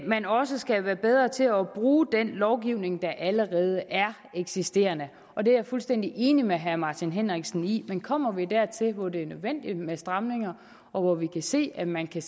man også skal være bedre til at bruge den lovgivning der allerede eksisterer og det er jeg fuldstændig enig med herre martin henriksen i men kommer vi dertil hvor det er nødvendigt med stramninger og hvor vi kan se at man kan